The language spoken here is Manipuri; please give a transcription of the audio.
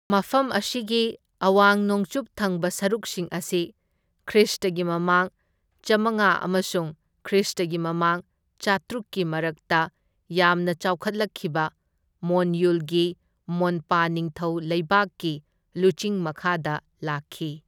ꯃꯐꯝ ꯑꯁꯤꯒꯤ ꯑꯋꯥꯡ ꯅꯣꯡꯆꯨꯞ ꯊꯪꯕ ꯁꯔꯨꯛꯁꯤꯡ ꯑꯁꯤ ꯈ꯭ꯔꯤꯁꯇꯒꯤ ꯃꯃꯥꯡ ꯆꯥꯝꯃꯉꯥ ꯑꯃꯁꯨꯡ ꯈ꯭ꯔꯤꯁꯇꯒꯤ ꯃꯃꯥꯡ ꯆꯥꯇ꯭ꯔꯨꯛꯀꯤ ꯃꯔꯛꯇ ꯌꯥꯝꯅ ꯆꯥꯎꯈꯠꯂꯛꯈꯤꯕ ꯃꯣꯟꯌꯨꯜꯒꯤ ꯃꯣꯟꯄꯥ ꯅꯤꯡꯊꯧ ꯂꯩꯕꯥꯛꯀꯤ ꯂꯨꯆꯤꯡ ꯃꯈꯥꯗ ꯂꯥꯛꯈꯤ꯫